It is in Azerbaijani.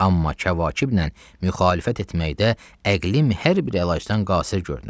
Amma Kəvakeblə müxalifət etməkdə əqlim hər bir əlacdan qasir görünür.